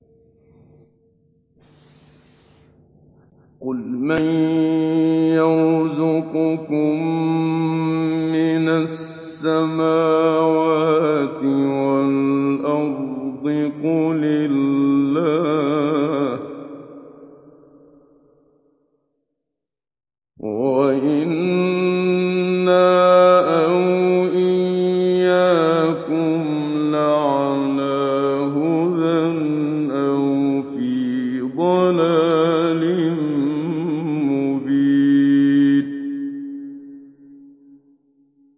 ۞ قُلْ مَن يَرْزُقُكُم مِّنَ السَّمَاوَاتِ وَالْأَرْضِ ۖ قُلِ اللَّهُ ۖ وَإِنَّا أَوْ إِيَّاكُمْ لَعَلَىٰ هُدًى أَوْ فِي ضَلَالٍ مُّبِينٍ